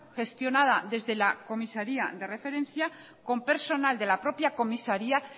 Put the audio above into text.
gestionada desde la comisaría de referencia con personal de la propia comisaría